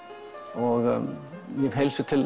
og ég hef heilsu til